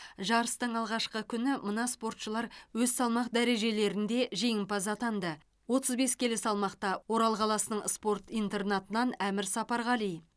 жарыстың алғашқы күні мына спортшылар өз салмақ дәрежелерінде жеңімпаз атанды отыз бес келі салмақта орал қаласының спорт интернатынан әмір сапарғали